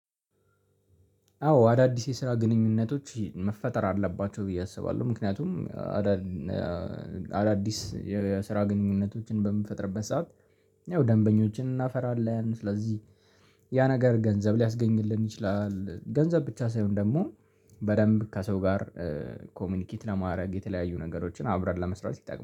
አዎ አዳዲስ የስራ ግንኙነቶች መፈጠር አለባቸው ብዬ አስባለሁ ምክንያቱም አዳድ አዳዲስ የስራ ግንኙነቶችን በምንፈጥርበት ሰዓት ያው ደንበኞችን እናፈራለን ስለዚህ ያ ነገር ገንዘብ ሊያስገኝልን ይችላል። ገንዘብ ብቻ ሳይሆን ደግሞ በደንብ ከሰው ጋር ኮሚኒኬት ለማድረግ የተለያዩ ነገሮችን አብረን ለመስራት ይጠቅማል።